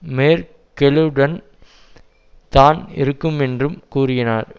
மேர்க்கெலுடன் தான் இருக்கும் என்றும் கூறினார்